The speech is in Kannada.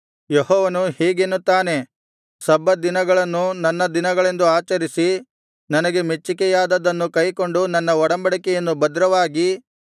ಯೆಹೋವನು ಹೀಗೆನ್ನುತ್ತಾನೆ ಸಬ್ಬತ್ ದಿನಗಳನ್ನು ನನ್ನ ದಿನಗಳೆಂದು ಆಚರಿಸಿ ನನಗೆ ಮೆಚ್ಚಿಕೆಯಾದುದನ್ನು ಕೈಕೊಂಡು ನನ್ನ ಒಡಂಬಡಿಕೆಯನ್ನು ಭದ್ರವಾಗಿ